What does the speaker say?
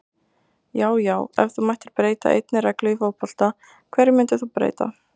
Já já Ef þú mættir breyta einni reglu í fótbolta, hverju myndir þú breyta?